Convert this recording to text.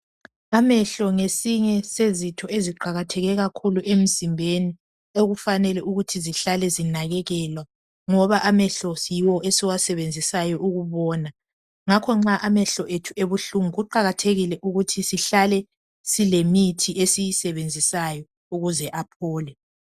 Amehlo ngesinye sezitho eziqakatheke kakhulu emzimbeni okufanele ukuthi zihlale zinakekelwa ngoba amehlo yiwo esiwasebenzisayo ukubona ngakho nxa amehlo ethu ebuhlungu kuqakathekile ukuthi sihlale silemithi esiyisebenzisayo ukuze aphole.